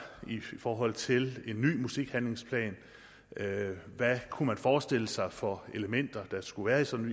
i forhold til en ny musikhandlingsplan hvad kunne man forestille sig for elementer der skulle være i sådan